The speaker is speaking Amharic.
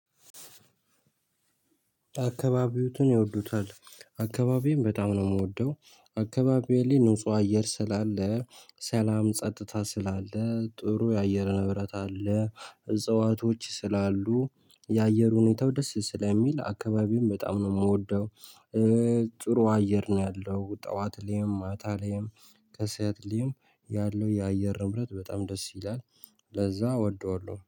አካባቢዎትን ይወዱታል አካባቢዬን በጣም ነው የምወደው አካባቢው ላይ ንጹህ አየር ስላለ ሰላም ጸጥታ ስላለ ጥሩ የአየር ንብረት አለ እጽዋቶች ስላሉ የአየር ሁኔታው ደስ ስለሚል አካባቢውን በጣም ነው የምወደው። ጥሩ አየር ነው ያለው ጠዋት ላይም ማታ ላይም ከሰአት ሌይም ያለው የአየር ንብረት በጣም ደስ ይላል። ለዛ እወደዋለሁ